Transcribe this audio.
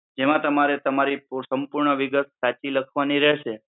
જેમાં તમારે તમારી પૂર સંપૂર્ણ વિગત સાચી લખવાની રહેશે.